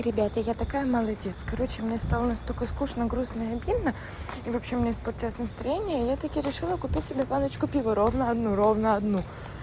ребята я такая молодец короче мне стало настолько скучно грустно и обидно и вообще у меня испортилось настроение я таки решила купил себе баночку пива ровно одну ровно одну